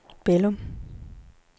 Bælum